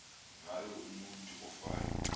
ngayo umutu ofayo